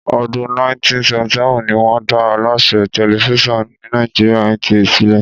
Ọdún 1977 ní wọn dá Aláṣẹ Tẹlifíṣàn tí Nàìjíríà (NTA) sílẹ̀